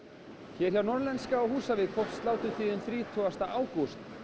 í Norðlenska á Húsavík hófst sláturtíðin þrítugasta ágúst